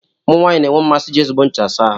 Ụmụ nwanyị na-enwe mmasị iji ezigbo ncha asa ahụ.